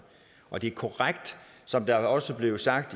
og det er korrekt som det også blev sagt